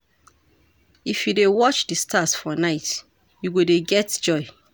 If you dey watch di stars for night, you go dey get joy.